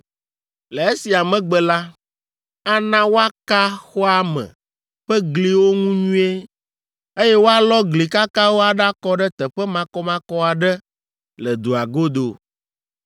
Le esia megbe la, ana woaka xɔa me ƒe gliwo ŋu nyuie, eye woalɔ gli kakawo aɖakɔ ɖe teƒe makɔmakɔ aɖe le dua godo.